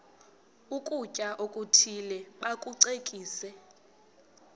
ukutya okuthile bakucekise